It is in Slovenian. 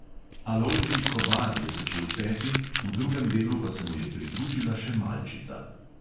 Alojzij kobal je začel peti, v drugem delu pa se mu je pridružila še malčica.